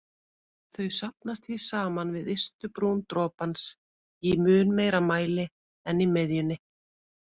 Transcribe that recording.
Þau safnast því saman við ystu brún dropans í mun meiri mæli en í miðjunni.